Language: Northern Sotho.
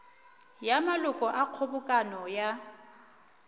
ya maloko a kgobokano ya